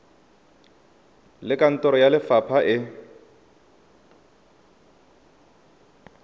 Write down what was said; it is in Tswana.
le kantoro ya lefapha e